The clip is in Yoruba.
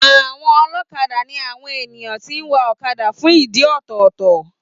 Àwọn ọlọ́kadà ní àwon ènìyàn tí ń wa ọ̀kadà fún ìdí ọ̀tọ̀ọ̀tọ̀